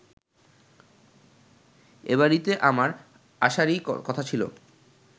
এবাড়িতে আমার আসারই কথা ছিল